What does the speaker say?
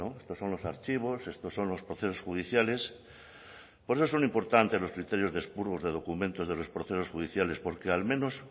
estos son los archivos estos son los procesos judiciales por eso son importantes los criterios de expurgos de documentos de los procesos judiciales porque al menos